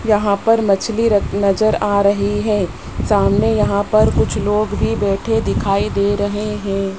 यहां पर मछली र नजर आ रही है सामने यहां पर कुछ लोग भी बैठे दिखाई दे रहे हैं।